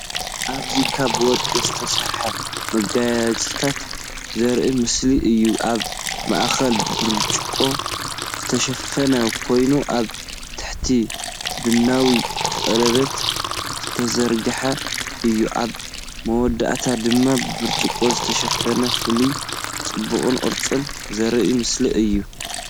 ኣብዚ ካብ ወርቂ ዝተሰርሐ መጋየፅታት ዘርኢ ምስሊ እዩ። ኣብ ማእከሉ ብብርጭቆ ዝተሸፈነ ኮይኑ ኣብ ታሕቲ ብነዊሕ ቀለቤት ዝተዘርግሐ እዩ። ኣብ መወዳእታ ድማ ብብርጭቆ ዝተሸፈነ። ፍልልይ ጽባቐን ቅርጽን ዘርኢ ምስሊ እዩ።